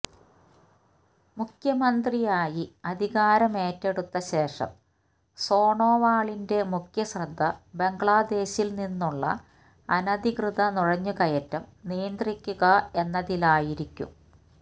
മുഖ്യമന്ത്രി ആയി അധികാരമേറ്റെടുത്ത ശേഷം സോണോവാളിന്റെ മുഖ്യശ്രദ്ധ ബംഗ്ലാദേശില് നിന്നുള്ള അനധികൃത നുഴഞ്ഞുകയറ്റം നിയന്ത്രിക്കുക എന്നതിലായിരിക്കും